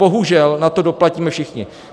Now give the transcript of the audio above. Bohužel na to doplatíme všichni.